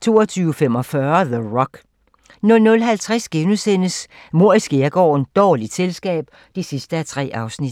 22:45: The Rock 00:50: Mord i skærgården: Dårligt selskab (3:3)*